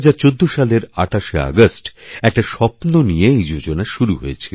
২০১৪ সালের ২৮শেআগষ্ট একটা স্বপ্ন নিয়ে এই যোজনা শুরু হয়েছিল